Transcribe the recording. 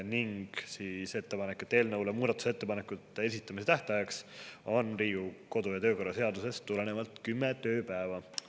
Veel tehti ettepanek, et eelnõu kohta muudatusettepanekute esitamise tähtaeg on Riigikogu kodu- ja töökorra seadusest tulenevalt 10 tööpäeva.